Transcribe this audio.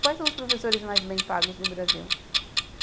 Quais são os professores mais bem pagos no Brasil?